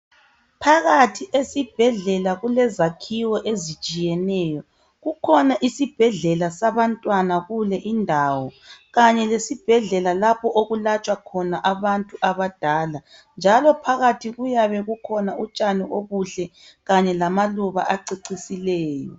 Phakathi esibhedlela kulezakhiwo ezitshiyeneyo. Kukhona isibhedlela sabantwana kule indawo kanye lezibhedlela lapho okulatshwa khona abantu abadala njalo phakathi kuyabe kukhona utshani obuhle kanye lamaluba acecisileyo.